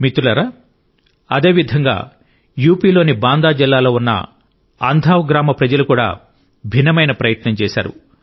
మిత్రులారా అదేవిధంగా యూపీలోని బాందా జిల్లాలో ఉన్న అంధావ్ గ్రామ ప్రజలు కూడా భిన్నమైన ప్రయత్నం చేశారు